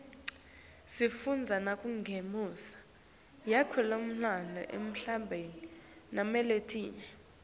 sifundza nangembuso yakulamanye emave naletinye